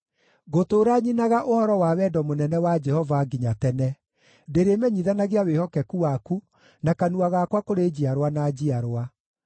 Ngũtũũra nyinaga ũhoro wa wendo mũnene wa Jehova nginya tene; ndĩrĩmenyithanagia wĩhokeku waku na kanua gakwa kũrĩ njiarwa na njiarwa.